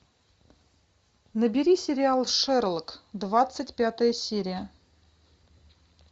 набери сериал шерлок двадцать пятая серия